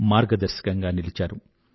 మార్గదర్శకంగా నిలిచారు